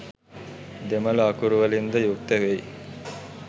දෙමල අකුරු වලින්ද යුක්ත වෙයි.